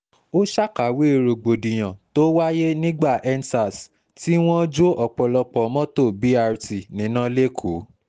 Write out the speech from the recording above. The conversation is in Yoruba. ó ṣàkàwé ṣàkàwé rògbòdìyàn tó wáyé nígbà end sars tí wọ́n jó ọ̀pọ̀lọpọ̀ mọ́tò brt níná lẹ́kọ̀ọ́